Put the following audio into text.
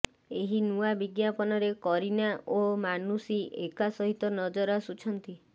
ଏହି ନୂଆ ବିଜ୍ଞାପନରେ କରୀନା ଓ ମାନୁଷି ଏକା ସହିତ ନଜର ଆସୁଛନ୍ତି